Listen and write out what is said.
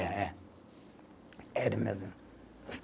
É, é. Ele mesmo.